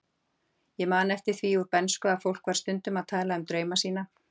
Ég man eftir því úr bernsku að fólk var stundum að tala um drauma sína.